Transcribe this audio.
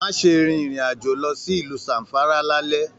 Má ṣe rìn ìrin àjò lọ sí ìlú Zamfara l'alẹ̀.